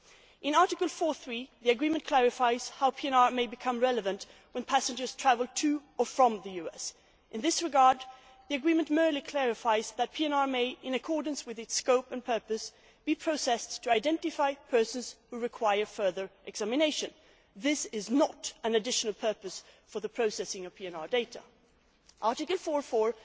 In Article 4 the agreement clarifies how PNR may become relevant when passengers travel to or from the US. In this regard the agreement merely clarifies that PNR may, in accordance with its scope and purpose, be processed to identify persons who require further examination. This does not constitute a further purpose for the processing of PNR data. Article